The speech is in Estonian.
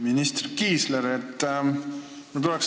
Minister Kiisler!